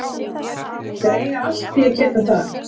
Þeir eiga allt í að geta það.